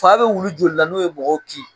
Fa bɛ wulu joli la n'o ye mɔgɔw ki ?